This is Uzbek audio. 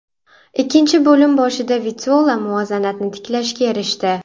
Ikkinchi bo‘lim boshida Vitolo muvozanatni tiklashga erishdi.